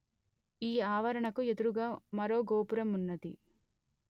ఈ ఆవరణకు ఎదురుగా మరో గోపురమున్నది